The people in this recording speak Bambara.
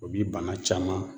O bi bana caman